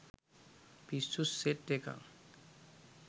පිස්සු සෙට් එකක්.